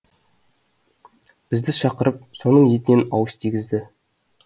бізді шақырып соның етінен ауыз тигізді